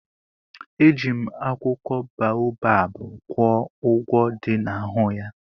Eji m akwụkwọ baobab gwọọ ụgwọ dị n'ahụ ya.